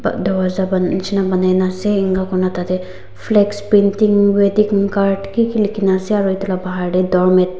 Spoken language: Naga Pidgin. tarwacha bon neshina ponai na ase enka kurina tati flex painting wedding card kiki likikina ase aro eto laga pahar teh door mate .